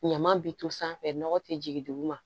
Ɲama bi to sanfɛ nɔgɔ te jigin duguma